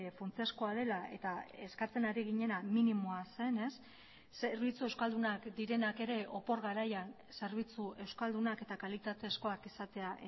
funtsezkoa dela eta eskatzen ari ginena minimoa zenez zerbitzu euskaldunak direnak ere opor garaian zerbitzu euskaldunak eta kalitatezkoak izatea